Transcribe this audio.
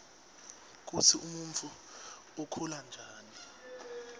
kutsi umuntfu ukhula njani